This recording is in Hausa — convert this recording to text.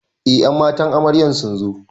Eh ƴan matan amarya sunzo